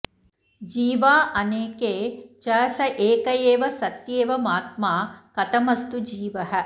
जीवा अनेके च स एक एव सत्येवमात्मा कथमस्तु जीवः